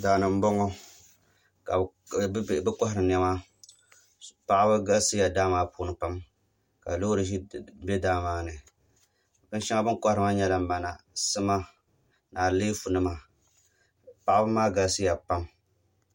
Daani n boŋo ka bi kohari niɛma paɣaba galisiya daa maa puuni pam ka loori bɛ daa maa ni bin shɛŋa bi ni kohari maa nyɛla mana sima ni aleefu nima paɣaba maa galisiya pam